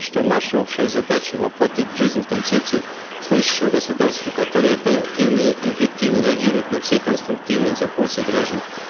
что наша общая задача воплотить в жизнь концепцию слышащего государства которое оперативно и эффективно реагирует на все конструктивные запросы граждан